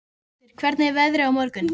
Tjaldur, hvernig er veðrið á morgun?